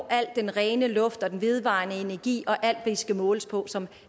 al den rene luft og den vedvarende energi og alt hvad i skal måles på som